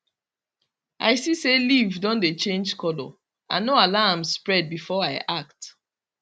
i see say leaf don dey change colour i no allow am spread before i act